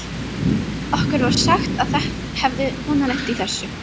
Okkur var sagt að það hefði kona lent í þessu.